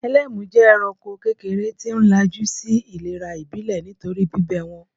Ẹlému jẹ́ ẹranko kékeré tí ń ńlájú sí ìlera ìbílè nítorí bíbẹ́ wọn.